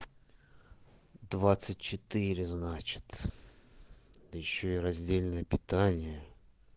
двадцать четыре значит да ещё и раздельное питание